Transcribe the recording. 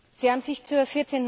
Sie haben sich zur